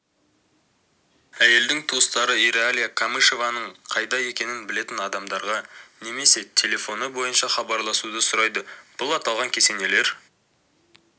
әйелдің туыстары иралия камышеваның қайда екенін білетін адамдаға немесе телефоны бойынша хабарласуды сұрайды бұл аталған кесенелер